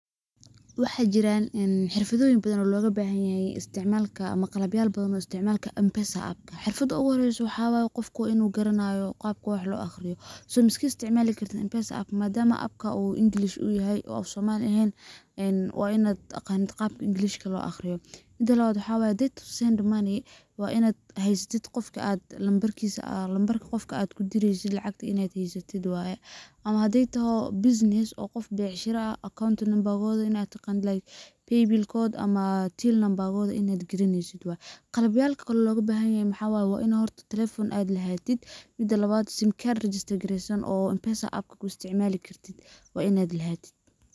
Waxaa jiraan xirfadoyin badaan logu bahanyaha isticmalk ama qalabyal badaan isticmalka mpesa xirfada ugu horeso qofka inu garanayo qabka wax lo aqriyo so iskama isticmale kartit Mpesa App madaama Appka English uu yahay, uu Afsomali ahayn waaa inaa aqanto qabka Englishka]cs] lo aqriyo mida labaad waxaa wayo way to send money waa inaa haysatit numberka qofkaa guudiresit inaa haysatit weye ama hatii tahay ChatGPT said:bussiness oo qof bicshiro ah accounting numbarkoda ama paybillkoda ama till numberkoda aad kaliniso waye khalab yalka kale lobahanyahay waa inaa telephone lahatit simigaar ChatGPT said:register garisan waa inaa lahatit.